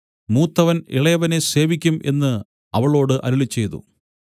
മൂത്തവൻ ഇളയവനെ സേവിക്കും എന്നു അവളോട് അരുളിച്ചെയ്തു